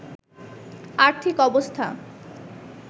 আর্থিক অবস্থা